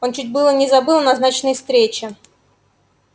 он чуть было не забыл о назначенной встрече